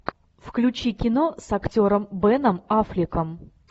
включи кино с актером беном аффлеком